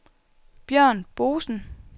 Bjørn Boesen